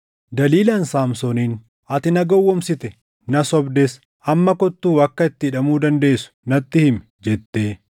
Daliilaan Saamsooniin, “Ati na gowwoomsite; na sobdes. Amma kottuu akka itti hidhamuu dandeessu natti himi” jette.